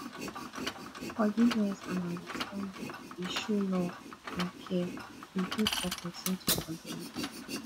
forgiveness and understanding dey show love and care e good for pesin to forgive